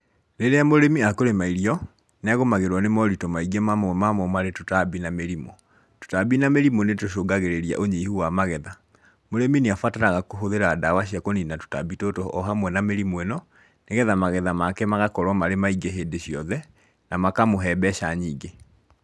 Rĩrĩa mũrĩmi akũrĩma irio, nĩ agũmagĩrwo nĩ moritũ maingĩ mamwe mamo marĩ tũtambi na mĩrimũ, tũtambi na mĩrimũ nĩ tũcũngagĩrĩria ũnyihu wa magetha, mũrĩmi nĩ abataraga kũhũthĩra dawa cia kũnina tũtambi tũtũ o hamwe na mĩrimũ ĩno, nĩgetha magetha make magakorwo marĩ maingĩ hĩndĩ ciothe, na makamũhe mbeca nyingĩ